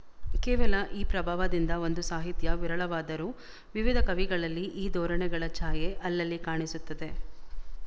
ಕೇವಲ ಈ ಪ್ರಭಾವದಿಂದ ಬಂದ ಸಾಹಿತ್ಯ ವಿರಳವಾದರೂ ವಿವಿಧ ಕವಿಗಳಲ್ಲಿ ಈ ಧೋರಣೆಗಳ ಛಾಯೆ ಅಲ್ಲಲ್ಲಿ ಕಾಣಿಸುತ್ತದೆ